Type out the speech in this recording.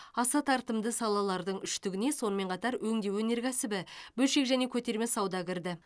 аса тартымды салалардың үштігіне сонымен қатар өңдеу өнеркәсібі бөлшек және көтерме сауда кірді